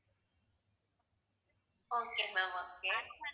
okay ma'am okay